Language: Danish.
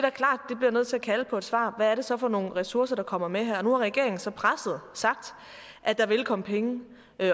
bliver nødt til at kalde på et svar hvad det så er for nogle ressourcer der kommer med her nu har regeringen så presset sagt at der vil komme penge